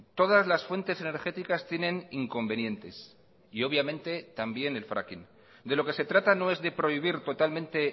todas las fuentes energéticas tienen inconvenientes y obviamente también el fraking de lo que se trata no es de prohibir totalmente